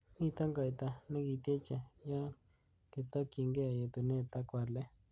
Miten goita nekityeche yon kitokyinge yetunet ak walet.